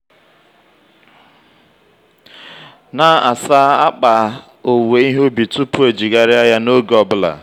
na-asa akpa owuwe ihe ubi tupu ejigharịa ya n'oge ọ bụla.